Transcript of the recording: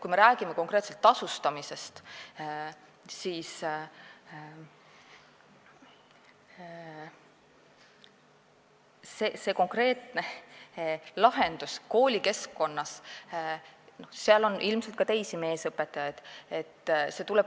Kui me räägime konkreetselt tasustamisest, siis konkreetses koolikeskkonnas on ilmselt mitmeid meesõpetajaid.